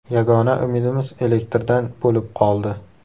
Yagona umidimiz elektrdan bo‘lib qoldi.